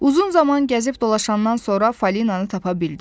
Uzun zaman gəzib dolaşandan sonra Fəlinanı tapa bildi.